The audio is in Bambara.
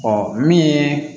min ye